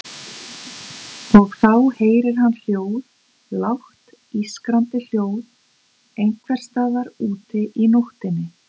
Og þá heyrir hann hljóð, lágt ískrandi hljóð einhvers staðar úti í nóttinni.